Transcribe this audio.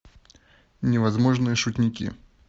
невозможные шутники